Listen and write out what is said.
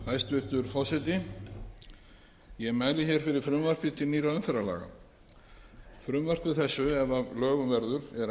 hæstvirtur forseti ég mæli fyrir frumvarpi til nýrra umferðarlaga frumvarpi þessu ef að lögum verður er ætlað að leysa